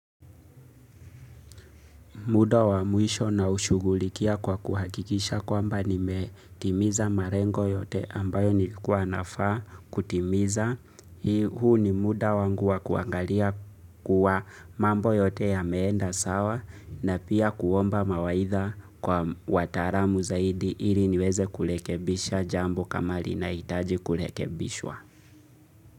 Mda wa mwisho naushugulikia kwa kuhakikisha kwamba nimetimiza marengo yote ambayo nilikuwa nafaa kutimiza. Hii huu ni muda wangu wa kuangalia kuwa mambo yote ya meenda sawa na pia kuomba mawaitha kwa wataaramu zaidi ili niweze kulekebisha jambo kama linahitaji kulekebishwa.